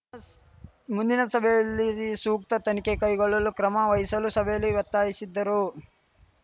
ಮುಂದಿನ ಸಭೆಯಲ್ಲಿ ಸೂಕ್ತ ತನಿಖೆ ಕೈಗೊಳ್ಳಲು ಕ್ರಮ ವಹಿಸಲು ಸಭೆಯಲ್ಲಿ ಒತ್ತಾಯಿಸಿದ್ದರು